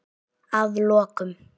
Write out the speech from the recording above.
Að lokum